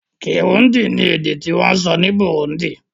Kirundi ni èdè ti wón sọ ni Burundi